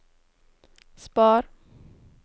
spar